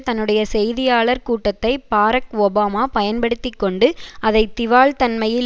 தன்னுடைய செய்தியாளர் கூட்டத்தை பாரக் ஒபாமா பயன்படுத்தி கொண்டு அதை திவால்தன்மையில்